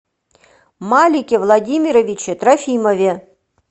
малике владимировиче трофимове